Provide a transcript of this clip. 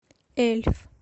эльф